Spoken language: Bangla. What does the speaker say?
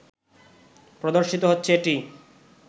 প্রদর্শিত হচ্ছে এটি